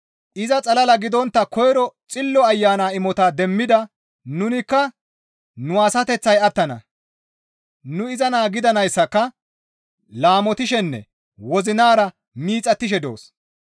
Iza xalala gidontta koyro Xillo Ayana imota demmida nunikka nu asateththay attana; nu iza naa gidanayssaka laamotishenne wozinara miixattishe doos.